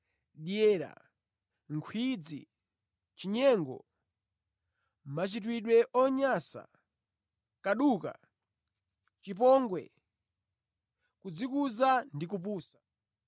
dyera, nkhwidzi, chinyengo, machitidwe onyansa, kaduka, chipongwe, kudzikuza ndi kupusa.